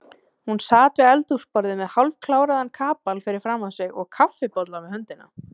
Hún sat við eldhúsborðið með hálfkláraðan kapal fyrir framan sig og kaffibolla við höndina.